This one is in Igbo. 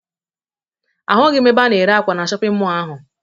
Ahụghị m ebe a na-erw ákwà na shọpịn mọọ ahụ